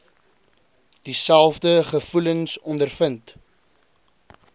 dieselfde gevoelens ondervind